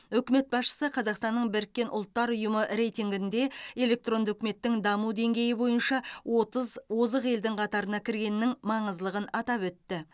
үкімет басшысы қазақстанның біріккен ұлттар ұйымы рейтингінде электронды үкіметтің даму деңгейі бойынша отыз озық елдің қатарына кіргенінің маңыздылығын атап өтті